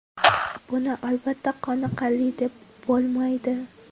Buni albatta qoniqarli deb bo‘lmaydi.